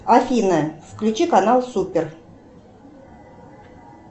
афина включи канал супер